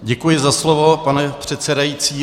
Děkuji za slovo, pane předsedající.